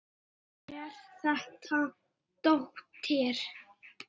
Er þetta dóttir.